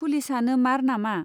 पुलिसआनो मार नामा ?